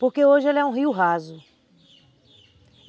Porque hoje ele é um rio raso.